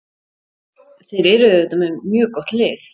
Þeir eru auðvitað með mjög gott lið.